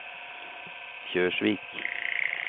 Kjørsvik